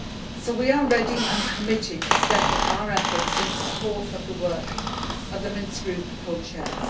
So we are ready and committed to stepping up our efforts in support of the work of the Minsk Group co chairs.